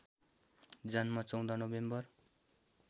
जन्म १४ नोभेम्बर